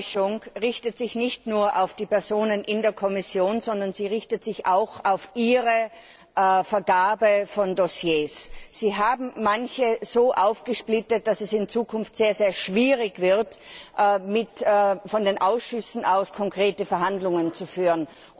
Meine Enttäuschung richtet sich nicht nur auf die Personen in der Kommission, sondern sie richtet sich auch auf Ihre Vergabe von Dossiers. Sie haben manche so aufgesplittet, dass es in Zukunft sehr schwierig wird, von den Ausschüssen aus konkrete Verhandlungen zu führen.